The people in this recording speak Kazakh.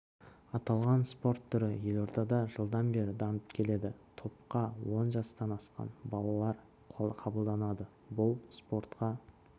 аталған спорт түрі елордада жылдан бері дамып келеді топқа он жастан асқан балалар қабылданады бұл спортқа